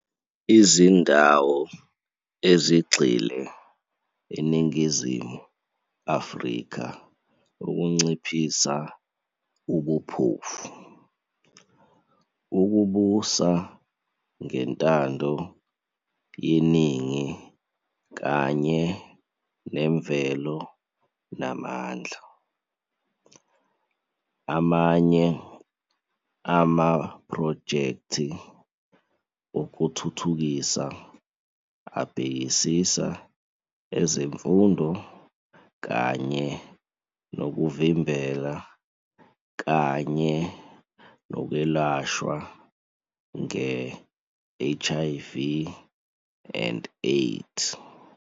Izindawo ezigxile eNingizimu Afrika ukunciphisa ubuphofu, ukubusa ngentando yeningi kanye nemvelo namandla. Amanye amaphrojekthi okuthuthukisa abhekisisa ezemfundo kanye nokuvimbela kanye nokwelashwa nge-HIV and AIDS.